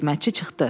Xidmətçi çıxdı.